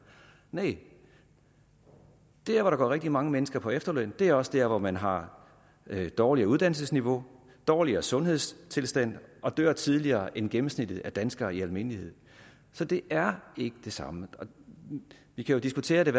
næh der hvor der går rigtig mange mennesker på efterløn er også der hvor man har dårligere uddannelsesniveau dårligere sundhedstilstand og dør tidligere end gennemsnittet af danskere i almindelighed så det er ikke det samme vi kan jo diskutere det